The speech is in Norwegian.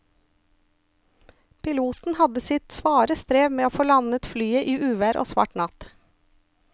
Piloten hadde sitt svare strev med å få landet flyet i uvær og svart natt.